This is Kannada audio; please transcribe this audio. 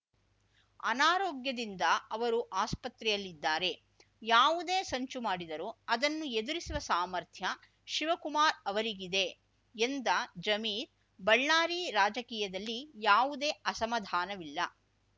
ಅನಾರೋಗ್ಯದಿಂದ ಅವರು ಆಸ್ಪತ್ರೆಯಲ್ಲಿದ್ದಾರೆ ಯಾವುದೇ ಸಂಚು ಮಾಡಿದರೂ ಅದನ್ನು ಎದುರಿಸುವ ಸಾಮರ್ಥ್ಯ ಶಿವಕುಮಾರ್ ಅವರಿಗಿದೆ ಎಂದ ಜಮೀರ್ ಬಳ್ಳಾರಿ ರಾಜಕೀಯದಲ್ಲಿ ಯಾವುದೇ ಅಸಮಾಧಾನವಿಲ್ಲ